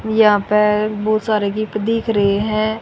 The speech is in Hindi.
यहां पे बहोत सारे गिफ्ट दिख रही हैं।